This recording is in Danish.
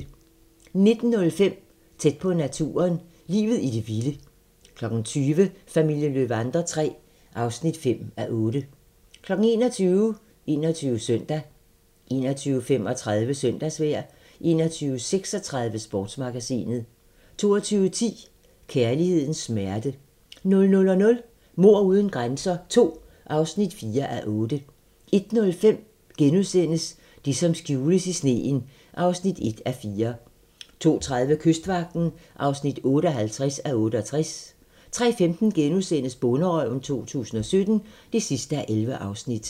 19:05: Tæt på naturen - Livet i det vilde 20:00: Familien Löwander III (5:8) 21:00: 21 Søndag 21:35: Søndagsvejr 21:36: Sportsmagasinet 22:10: Kærlighedens smerte 00:05: Mord uden grænser II (4:8) 01:05: Det, som skjules i sneen (1:4)* 02:30: Kystvagten (58:68) 03:15: Bonderøven 2017 (11:11)*